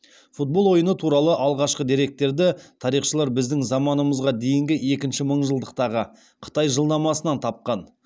футбол ойыны туралы алғашқы деректерді тарихшылар біздің заманымызға дейінгі екінші мыңжылдықтағы қытай жылнамасынан тапқан